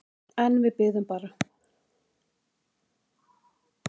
En við biðum bara.